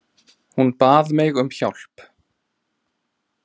Hún bað mig um hjálp.